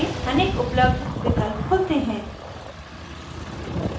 अनेक उपलब्ध विकल्प खुलते हैं